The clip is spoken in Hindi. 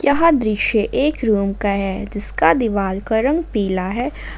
यह दृश्य एक रूम का है जिसका दीवाल का रंग पीला है।